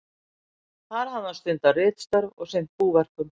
Þar hafði hann stundað ritstörf og sinnt búverkum.